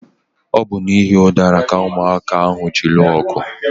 Ọ bu n'ihi udara ka ụmụaka ahụ ji lụọ ọgụ